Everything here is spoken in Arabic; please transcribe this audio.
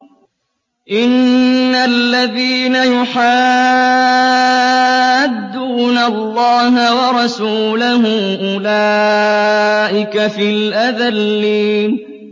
إِنَّ الَّذِينَ يُحَادُّونَ اللَّهَ وَرَسُولَهُ أُولَٰئِكَ فِي الْأَذَلِّينَ